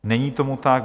Není tomu tak.